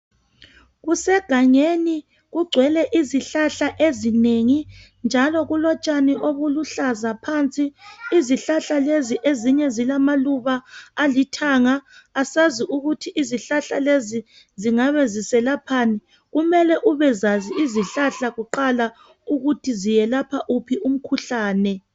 Kusegangeni kugcwele izihlahla ezinengi njalo kulotshani obuluhlaza phansi, izihlahla lezi ezinye zilamaluba alithanga. Asazi ukuthi izihlahla lezi zingabe ziselaphani. Kumele ubezazi kuqala izihlahla ukuthi zingabe ziyelapha wuphi umkhuhlane